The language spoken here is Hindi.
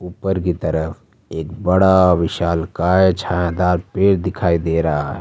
ऊपर की तरफ एक बड़ा विशालकाय छायादार पेड़ दिखाई दे रहा है।